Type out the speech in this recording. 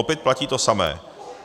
Opět platí to samé.